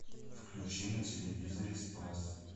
включи на телевизоре спас